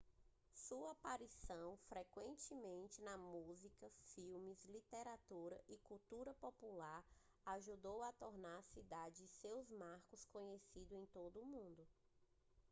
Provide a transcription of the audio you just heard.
sua aparição frequente na música filmes literatura e cultura popular ajudou a tornar a cidade e seus marcos conhecidos em todo o mundo